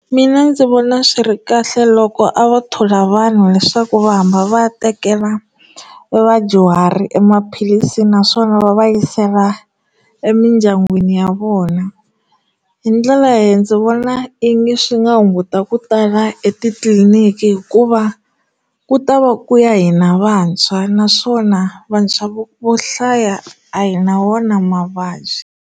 Mina ndzi vona swi ri kahle loko a va thola vanhu leswaku va hamba va tekela vadyuhari emaphilisi naswona va va yisela emindyangwini ya vona hi ndlela leyi ndzi vona i ngi swi nga hunguta ku tala etitliliniki hikuva ku ta va ku ya hina vantshwa naswona vantshwa vo vo hlaya a hi na wona mavabyi.